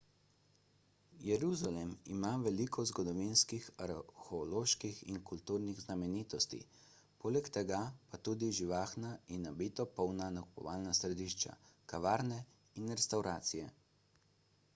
jeruzalem ima veliko zgodovinskih arheoloških in kulturnih znamenitosti poleg tega pa tudi živahna in nabito polna nakupovalna središča kavarne in restavracije